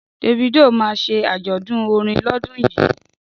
Davido ma ṣe àjọ̀dún orin lọ́dún yìí